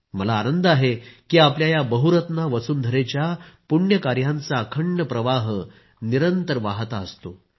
मला आनंद आहे की आपल्या या बहुरत्ना वसुंधरेच्या पुण्य कार्यांचा अखंड प्रवाह निरंतर वाहता असतो